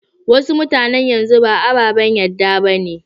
Wasu mutanan yanzu ba ababen yadda ba ne.